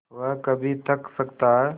वह कभी थक सकता है